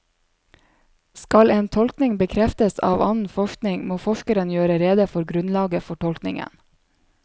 Skal en tolkning bekreftes av annen forskning, må forskeren gjøre rede for grunnlaget for tolkningen.